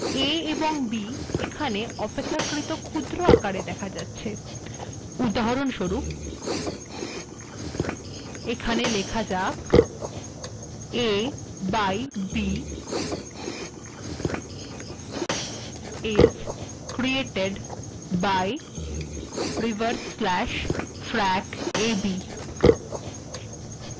লক্ষ্য করুন a এবং b এখানে অপেক্ষাকৃত ক্ষুদ্র আকারে দেখা যাচ্ছে উদাহরণস্বরূপ এখানে লেখা যাক a by b is created by \frac a b